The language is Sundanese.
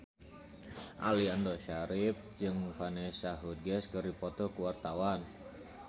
Aliando Syarif jeung Vanessa Hudgens keur dipoto ku wartawan